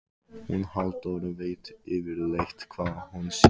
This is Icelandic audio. Hún Halldóra veit yfirleitt hvað hún syngur.